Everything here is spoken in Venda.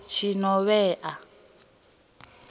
tshinovhea